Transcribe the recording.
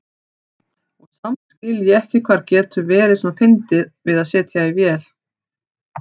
Og samt skil ég ekki hvað getur verið svona fyndið við að setja í vél.